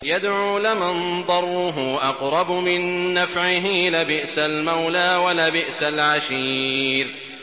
يَدْعُو لَمَن ضَرُّهُ أَقْرَبُ مِن نَّفْعِهِ ۚ لَبِئْسَ الْمَوْلَىٰ وَلَبِئْسَ الْعَشِيرُ